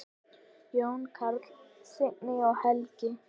Jón Karl, Signý og Helgi.